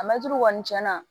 A mɛtiri kɔni tiɲɛna